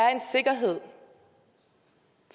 er en sikkerhed